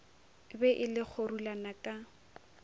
be e le kgorulana ka